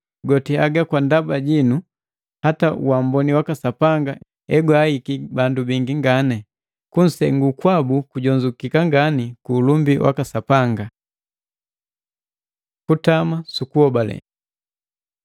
Goti haga kwa ndaba jinu, hata uamboni waka Sapanga egwahiki bandu bingi ngani, kusengu kwabu kujonzukika ngani, ku ulumbi waka Sapanga. Kutama sukuhobale